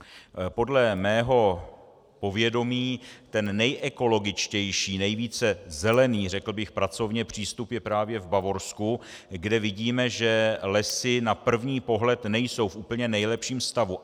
Podle mého povědomí ten nejekologičtější, nejvíce zelený, řekl bych pracovně, přístup je právě v Bavorsku, kde vidíme, že lesy na první pohled nejsou v úplně nejlepším stavu.